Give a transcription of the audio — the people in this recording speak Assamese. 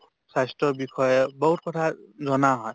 স্বাস্থ্যৰ বিষয়ে বহুত কথা জনা হয়